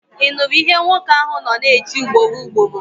Ị nụrụ ihe nwoke ahụ nọ na-eti ugboro ugboro?